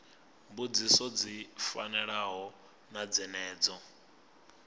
mbudziso dzi fanaho na dzenedzo